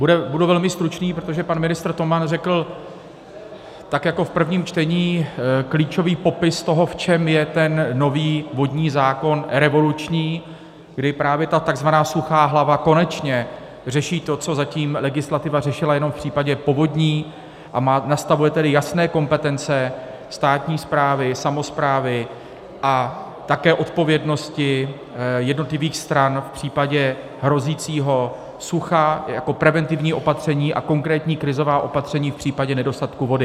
Budu velmi stručný, protože pan ministr Toman řekl, tak jako v prvním čtení, klíčový popis toho, v čem je ten nový vodní zákon revoluční, kdy právě ta tzv. suchá hlava konečně řeší to, co zatím legislativa řešila jenom v případě povodní, a nastavuje tedy jasné kompetence státní správy, samosprávy a také odpovědnosti jednotlivých stran v případě hrozícího sucha jako preventivní opatření a konkrétní krizová opatření v případě nedostatku vody.